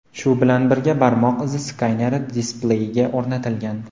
Shu bilan birga barmoq izi skaneri displeyga o‘rnatilgan.